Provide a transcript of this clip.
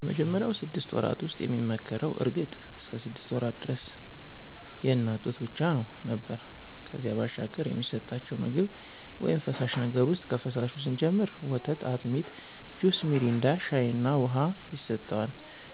በመጀመሪያው ስድስት ወራት ውስጥ የሚመከረው እርግጥ እስከ ሰድስት ወራት ደረስ የእናት ጡት ብቻ ነው ነበር ከዚያ ባሻገር የሚሰጠቸው ምግብ ውይም ፈሳሽ ነገር ውሰጥ ከፈሳሹ ስንጀምር ወተት፣ አጢሚት፣ ጁስ ሚሪንዳ፣ ሻይ እና ውሃ ይሰጠዋል።